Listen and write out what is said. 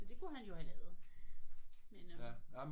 Så det kunne han jo have lavet men øh